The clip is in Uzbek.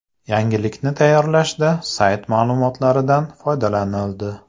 Yangilikni tayyorlashda sayti ma’lumotlaridan foydalanildi.